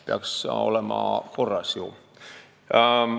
Peaks ju korras olema.